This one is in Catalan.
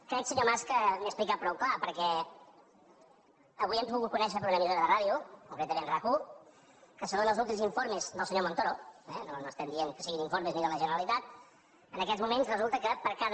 crec senyor mas que m’he explicat prou clar perquè avui hem pogut conèixer per una emissora de ràdio concretament rac1 que segons els últims informes del senyor montoro eh no estem dient que siguin informes ni de la generalitat en aquests moments resulta que per cada